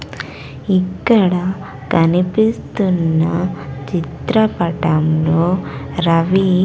ఇక్కడ కనిపిస్తున్న చిత్రపటంలో రవి--